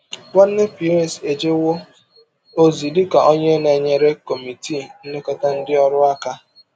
Nwanna Pierce ejewo ozi dị ka onye na-enyere Kọmitii Nlekọta Ndị Ọrụ aka.